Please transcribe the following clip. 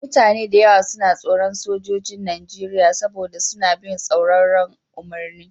Mutane da yawa suna tsoron Sojojin Najeriya saboda suna bin tsauraran umarni